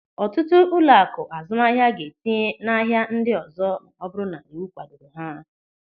Ọtụtụ ụlọaku azụmahịa ga-etinye n'ahia ndị ọzọ ma ọ bụrụ na iwu kwadoro ha.